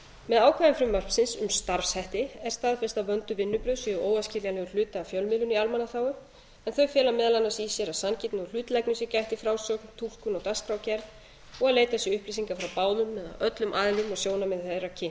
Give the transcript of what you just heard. með ákvæðum frumvarpsins um starfshætti er staðfest að vönduð vinnubrögð séu óæskilegur hluti af fjölmiðlun í almannaþágu en þau fela meðal annars í sér að sanngirni og hlutlægni sé gætt í frásögn túlkun og dagskrárgerð og leitað sé upplýsinga frá báðum eða öllum aðilum og sjónarmið þeirra kynnt